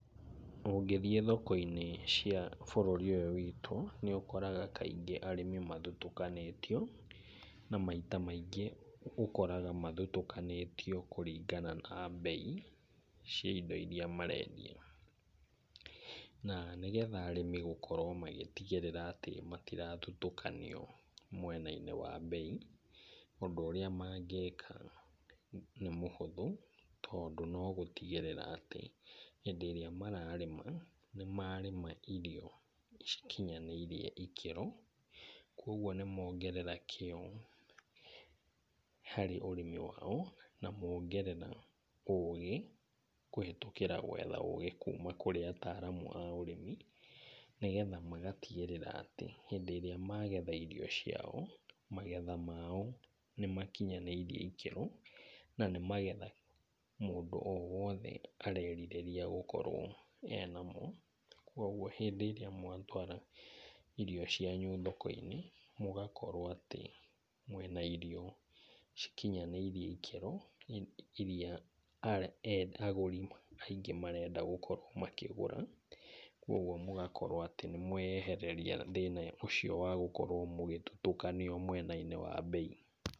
Ũngĩthiĩ thoko-inĩ cia bũrũri ũyũ witũ nĩ ũkoraga kaingĩ arĩmi mathutũkanĩtio, na maita maingĩ ũkoraga mathutũkanĩtio nĩ ũndũ wa bei cia indo irĩa marendia. Na nĩgetha arĩmĩ gũkorwo magĩtigĩrĩra atĩ matirathutũkanio mwena-inĩ wa bei, ũndũ ũrĩa mangika nĩ mũhũthũ tondũ no gũtigĩrĩra atĩ hĩndĩ ĩrĩa mararĩma, nĩ marĩma irio cikinyanĩire ikĩro. Kwoguo nĩ mongerera kĩo harĩ ũrĩmi wao na mongerera ũũgĩ kũhĩtũkĩra gwetha ũũgĩ kuuma kũrĩ ataaramu a ũrĩmi. Nĩgetha magatigĩrĩra atĩ hĩndĩ ĩrĩa magetha irio ciao, magetha mao nĩ makinyanĩirie ikĩro, na nĩ magetha mũndũ o wothe arerirĩria gũkorwo enamo. Kwoguo hĩndĩ ĩrĩa mwatwara irio cianyu thoko-inĩ mũgakorwo atĩ mwĩna irio cikinyanĩirie ikĩro irĩa agũri aingĩ marenda gũkorwo makĩgũra. Kwoguo mũgakorwo atĩ nĩ mweyehereria thĩna ũcio wa gũkorwo atĩ mũgĩtutukanio mwena-inĩ wa bei.